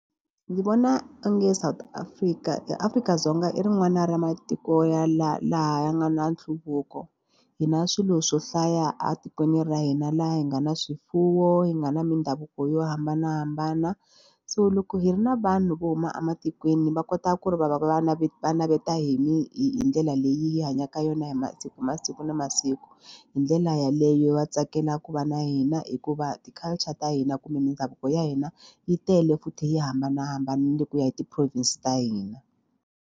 Ndzi vona onge South Africa eAfrika-Dzonga i ri n'wana ra matiko ya laha laha a nga na nhluvuko hi na swilo swo hlaya a tikweni ra hina laha hi nga na swifuwo hi nga na mindhavuko yo hambanahambana so loko hi ri na vanhu vo huma ematikweni va kota ku ri va va va va naveta hi dlela leyi hi hanyaka ka yona hi masiku hi mi hi masiku na masiku hi ndlela yaleyo va tsakela ku va na hina hikuva ti-culture ta hina kumbe mindhavuko ya hina yi tele futhi yi hambanahambanile ku ya hi ti-province ta hina.